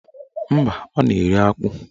Mba, ọ na-eri akpụ